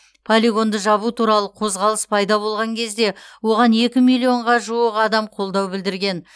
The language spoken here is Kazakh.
полигонды жабу туралы қозғалыс пайда болған кезде оған екі миллионға жуық адам қолдау білдірген